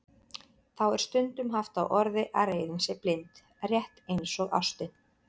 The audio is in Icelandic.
Þá er stundum haft á orði að reiðin sé blind, rétt eins og ástin.